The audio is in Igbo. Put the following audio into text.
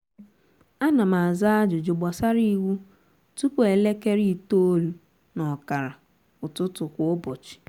ánà m àzá ájụjụ gbàsárá iwu tụpụ elekere itoolu nà ọkàrà ụtụtụ kwa ụbọchị